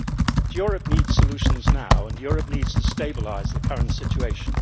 But Europe needs solutions now, and Europe needs to stabilise the current situation.